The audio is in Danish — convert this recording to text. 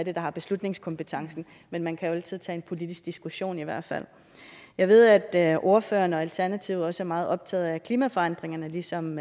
er der har beslutningskompetencen men man kan jo altid tage en politisk diskussion i hvert fald jeg ved at ordføreren og alternativet også er meget optaget af klimaforandringerne ligesom